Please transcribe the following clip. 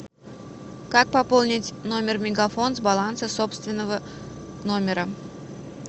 как пополнить номер мегафон с баланса собственного номера